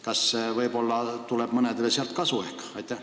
Kas see võib-olla toob mõnedele kasu?